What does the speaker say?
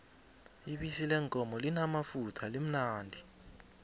ibisi leenkomo limamafutha limnandi